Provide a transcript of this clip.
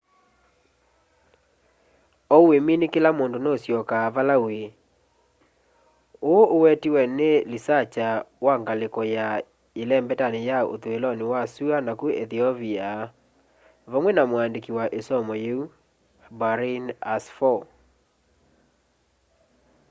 ou wimini kila undu nuusyoka vala wîî îî” uu uwetiwe ni lisakya wa ngaliko ya yelembeta ya uthuiloni wa sua naku ethiopia vamwe na muandiki wa i somo yiu berhane asfaw